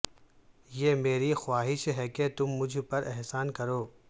یہ میری خواہش ہے کہ تم مجھ پر احسان کرو